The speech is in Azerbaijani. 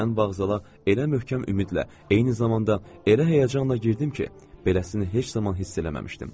Mən vağzala elə möhkəm ümidlə, eyni zamanda elə həyəcanla girdim ki, beləsini heç zaman hiss eləməmişdim.